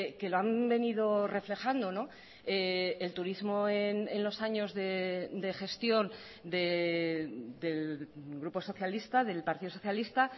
que lo han venido reflejando el turismo en los años de gestión del grupo socialista del partido socialista